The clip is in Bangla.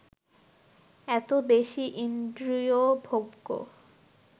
এত বেশী ইন্দ্রিয়ভোগ্য